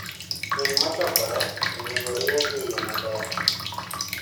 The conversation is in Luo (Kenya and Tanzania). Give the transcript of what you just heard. winy machokore onego orie gi eyo maber.